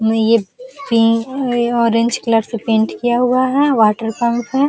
ये pink orange colour से paint किया हुआ है। वाटरपंप है।